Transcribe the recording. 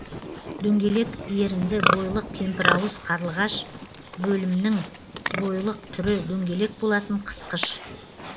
дөңгелек ерінді бойлық кемпірауыз қарпығыш бөлімінің бойлық түрі дөңгелек болатын қысқыш